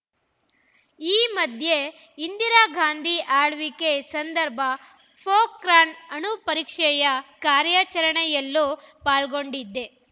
ಈ ಮಧ್ಯೆ ಇಂದಿರಾ ಗಾಂಧಿ ಆಳ್ವಿಕೆ ಸಂದರ್ಭ ಪೋಖ್ರಾಣ್‌ ಅಣುಪರೀಕ್ಷೆಯ ಕಾರ್ಯಾಚರಣೆಯಲ್ಲೂ ಪಾಲ್ಗೊಂಡಿದ್ದೆ